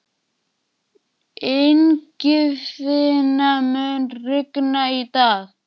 Ingifinna, mun rigna í dag?